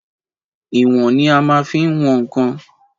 Ìwòn ni a má n fi wọn ǹkan